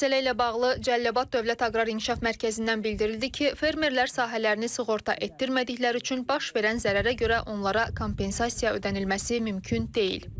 Məsələ ilə bağlı Cəlilabad Dövlət Aqrar İnkişaf Mərkəzindən bildirildi ki, fermerlər sahələrini sığorta etdirmədikləri üçün baş verən zərərə görə onlara kompensasiya ödənilməsi mümkün deyil.